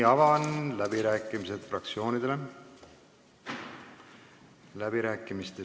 Avan fraktsioonide läbirääkimised.